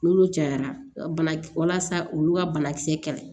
N'olu cayara banakisɛ walasa olu ka banakisɛ kɛlɛ